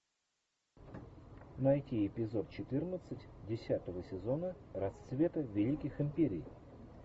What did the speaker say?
найти эпизод четырнадцать десятого сезона расцвет великих империй